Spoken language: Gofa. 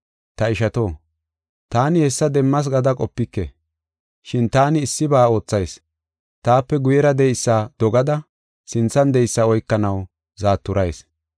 Ta ishato, taani hessa demmas gada qopike, shin taani issiba oothayis. Taape guyera de7eysa dogada sinthan de7eysa oykanaw zaaturayis.